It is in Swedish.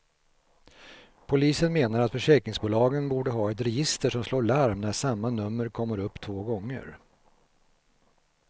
Polisen menar att försäkringsbolagen borde ha ett register som slår larm när samma nummer kommer upp två gånger.